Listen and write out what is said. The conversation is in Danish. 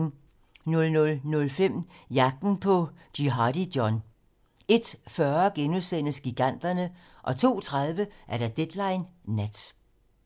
00:05: Jagten på Jihadi John 01:40: Giganterne * 02:30: Deadline nat